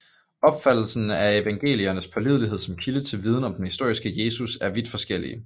Opfattelsen af evangeliernes pålidelighed som kilde til viden om den historiske Jesus er vidt forskellig